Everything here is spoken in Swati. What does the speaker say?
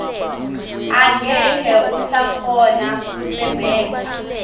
angeke usakhona kusebenta